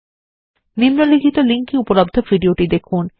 নিম্নলিখিত লিঙ্ক এ উপলব্ধ ভিডিওটি দেখুন